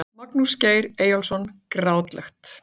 Magnús Geir Eyjólfsson Grátlegt.